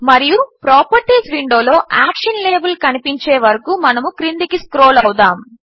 మరియు ప్రాపర్టీస్ విండోలో action label కనిపించే వరకు మనము క్రిందికి స్క్రోల్ అవుదాము